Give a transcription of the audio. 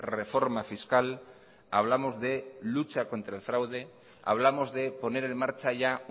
reforma fiscal hablamos de lucha contra el fraude hablamos de poner en marcha ya